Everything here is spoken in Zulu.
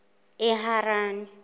eharani